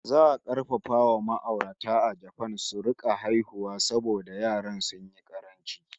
Za a karfafa wa ma'aurata a Japan su rika haihuwa saboda yara sun yi ƙaranci!